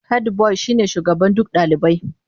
Hedbuwai shine shugaban duk dalibai.